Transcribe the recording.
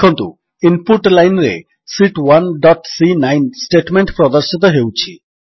ଦେଖନ୍ତୁ ଇନପୁଟ lineରେ sheet 1 dot ସି9 ଷ୍ଟେଟମେଣ୍ଟ ପ୍ରଦର୍ଶିତ ହେଉଛି